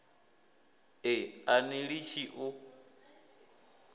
e a ni litshi u